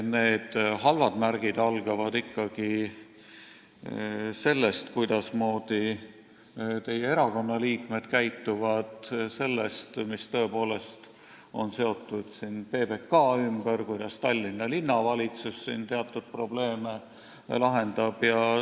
Need halvad märgid algavad ikkagi sellest, kuidas teie erakonna liikmed käituvad, sellest, mis on seotud PBK-ga ja kuidas Tallinna Linnavalitsus teatud probleeme lahendab.